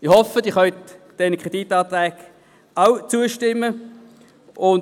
Ich hoffe, dass auch Sie diesen Kreditanträgen zustimmen können.